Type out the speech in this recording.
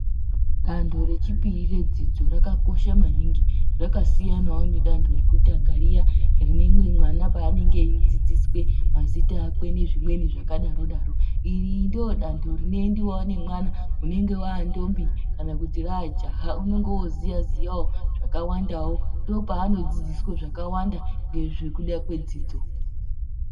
Dando rechipiri redzidzo rakakosha maningi rakasiyanawo nedando rekutanga riya rinenge mwana paanenge eidzidziswe mazita akwe nezvimweni zvakadaro daro. Iri ndoodanto rinoendewawo nemwana unenge waantombi kana kuti raajaha unenge wooziyawo zvakawandawo. Ndoopanodzidziswe zvakawanda nekuda kwedzidzo.